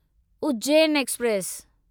Ujjain express